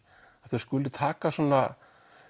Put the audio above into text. að þau skuli taka svona